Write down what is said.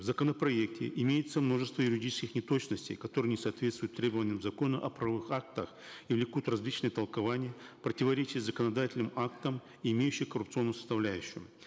в законопроекте имеется множество юридических неточностей которые не соответствуют требованиям закона о правовых актах и влекут различные толкования противоречия с законодательным актом имеющие коррупционную составляющую